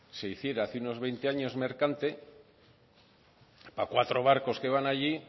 se hiciera hace unos veinte años mercante para cuatro barcos que van allí